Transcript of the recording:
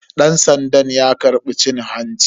Dan sandan ya karbi cin hanci.